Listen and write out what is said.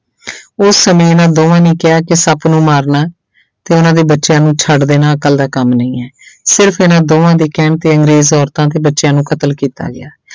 ਉਸ ਸਮੇਂ ਇਹਨਾਂ ਦੋਹਾਂ ਨੇ ਕਿਹਾ ਕਿ ਸੱਪ ਨੂੰ ਮਾਰਨਾ ਤੇ ਉਹਨਾਂ ਦੇ ਬੱਚਿਆਂ ਨੂੰ ਛੱਡ ਦੇਣਾ ਅਕਲ ਦਾ ਕੰਮ ਨਹੀਂ ਹੈ ਸਿਰਫ਼ ਇਹਨਾਂ ਦੋਹਾਂ ਦੇ ਕਹਿਣ ਤੇ ਅੰਗਰੇਜ਼ ਔਰਤਾਂ ਤੇ ਬੱਚਿਆਂ ਨੂੰ ਕਤਲ ਕੀਤਾ ਗਿਆ।